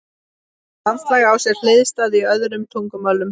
Orðið landslag á sér hliðstæður í öðrum tungumálum.